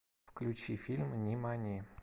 включи фильм нимани